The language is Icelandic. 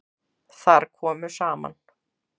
Þar komu saman